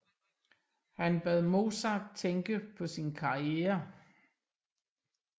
Han bad Mozart tænke på sin karriere